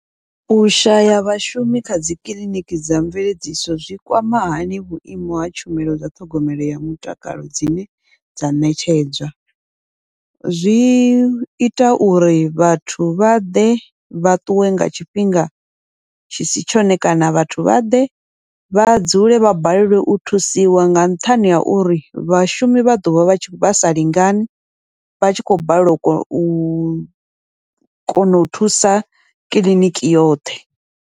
U shaya vhashumi kha dzikiḽiniki dza mveledziso zwi kwama hani vhuimo ha tshumelo dza ṱhogomelo ya mutakalo dzine dza ṋetshedzwa, zwi ita uri vhathu vha ḓe vha ṱuwe nga tshifhinga tshi si tshone, kana vhathu vha ḓe vha dzule vha balelwe u thusiwa nga nṱhani ha uri vhashumi vha ḓovha vha vha sa lingani, vha tshi khou balelwa u kona u kona u thusa kiḽiniki yoṱhe.